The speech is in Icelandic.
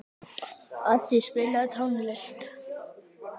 Addý, spilaðu tónlist.